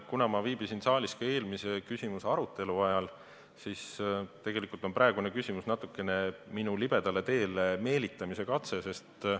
Kuna ma viibisin saalis ka eelmise küsimuse arutelu ajal, siis saan aru, et tegelikult on praegune küsimus natukene minu libedale teele meelitamise katse.